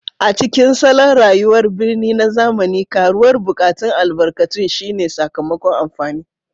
A cikin salon rayuwar birni na zamani, karuwar buƙatun albarkatun shine sakamakon amfani